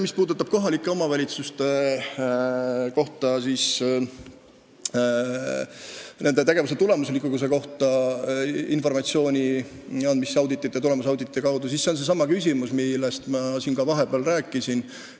Mis puudutab kohalikke omavalitsusi ja nende tegevuse tulemuslikkuse kohta informatsiooni andmist tulemusauditite kaudu, siis see on seesama küsimus, millest ma siin vahepeal juba rääkisin.